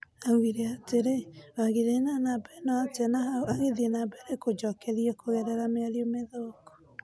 Augire atirĩ, wagĩire na numba ĩno atĩa na hau agithĩĩ na mbere kũnjokerĩa kugerera mĩario mithũku.